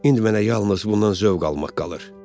İndi mənə yalnız bundan zövq almaq qalır.